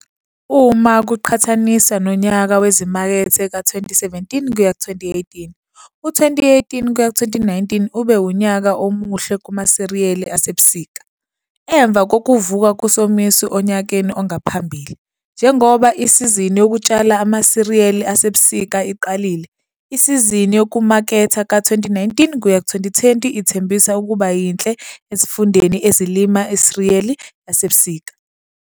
Uma kuqhathaniswa nonyaka wezimakethe ka-2017 kuya 2018, u-2018 kuya 2019 ube unyaka omuhle kumasiriyeli asebusika, emva kokuvuka kusomiso onyakeni ongaphambili. Njengoba isizini yokutshala amasiriyeli asebusika iqalile, isizini yokumaketha ka-2019 kuya 2020 ithembisa ukuba yinhle ezifundeni ezilima isiriyeli yasebusika.